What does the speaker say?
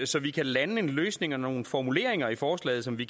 så vi kan lande en løsning og nogle formuleringer i forslaget som vi